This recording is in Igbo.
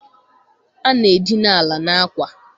Ana-edina ala n'akwa.